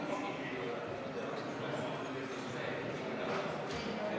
V a h e a e g